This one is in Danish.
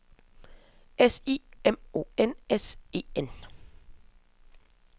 S I M O N S E N